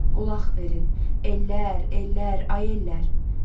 Qulaq verin, ellər, ellər, ay ellər!